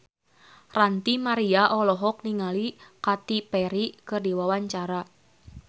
Ranty Maria olohok ningali Katy Perry keur diwawancara